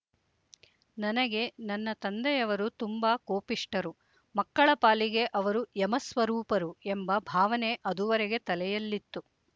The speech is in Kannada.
ನನಗೆ ನನ್ನ ತಂದೆಯವರು ತುಂಬ ಕೋಪಿಷ್ಠರು ಮಕ್ಕಳ ಪಾಲಿಗೆ ಅವರು ಯಮಸ್ವರೂಪರು ಎಂಬ ಭಾವನೆ ಅದುವರೆಗೆ ತಲೆಯಲ್ಲಿತ್ತು